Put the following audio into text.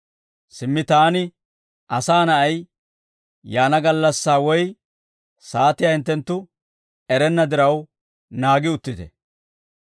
«Simmi taani, Asaa Na'ay, yaana gallassaa woy saatiyaa hinttenttu erenna diraw, naagi uttite.